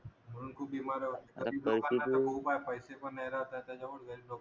म्हणून खूप वाढतात आणि गरीब लोकांकडे पैसे पण नाय राहत त्याच्यामुळे गरीब लोकांना